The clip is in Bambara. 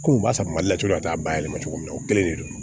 Ko u b'a fɔ mali la cogo min a t'a bayɛlɛma cogo min na o kelen de don